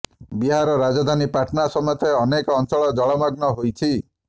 ବିହାର ରାଜଧାନୀ ପାଟନା ସମେତ ଅନେକ ଅଞ୍ଚଳ ଜଳମଗ୍ନ ହୋଇଛି